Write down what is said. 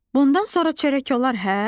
Bundan sonra çörək olar, hə?